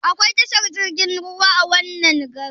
Akwai tashar jirgin ruwa a wannan garin?